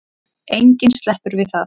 Enginn sleppur við það.